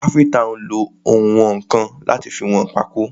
Káfíntà nlo ounwọ̀nkan láti fi wọn pákó.